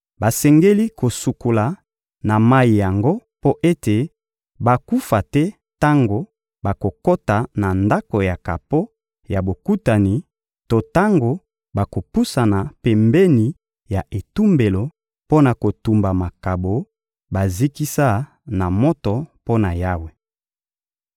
Basengeli kosukola na mayi yango mpo ete bakufa te tango bakokota na Ndako ya kapo ya Bokutani to tango bakopusana pembeni ya etumbelo mpo na kotumba makabo bazikisa na moto mpo na Yawe.